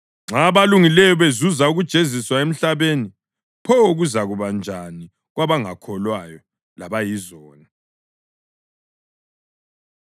Nxa abalungileyo bezuza ukujeziswa emhlabeni pho kuzakuba njani kwabangakholwayo labayizoni!